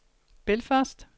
Belfast